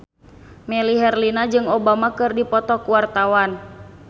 Melly Herlina jeung Obama keur dipoto ku wartawan